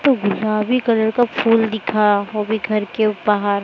तो गुलाबी कलर का फूल दिखा वो भी घर के बाहर।